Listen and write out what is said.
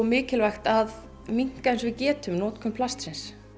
mikilvægt að minnka eins og við getum notkun plastsins